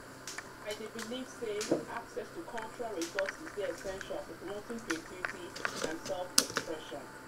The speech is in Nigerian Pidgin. i dey believe say access to cultural resourses dey essential for promoting creativity and self-expression.